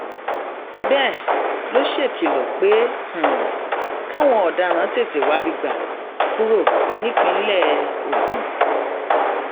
komisanna ọlọpàá ní kwara victor ọláíyà ti ní gbogbo gbogbo àwọn tó hùwà ìbàjẹ náà kò ní í lọ láì jìyà